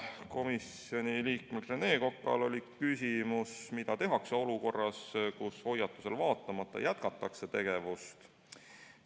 Komisjoni liikmel Rene Kokal oli küsimus, mida tehakse siis, kui hoiatusele vaatamata jätkatakse tegevust.